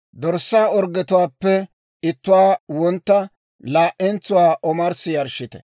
dorssaa orggetuwaappe ittuwaa wontta, laa"entsuwaa omarssi yarshshite.